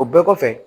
O bɛɛ kɔfɛ